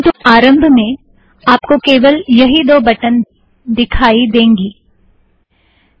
परंतु आरम्भ में आप को केवल यही दो बटन दिखाई देंगें